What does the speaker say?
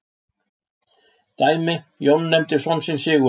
Dæmi: Jón nefndi son sinn Sigurð.